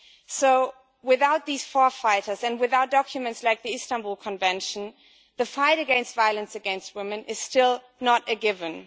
So without these pioneers and without documents like the Istanbul Convention, the fight against violence against women is still not a given.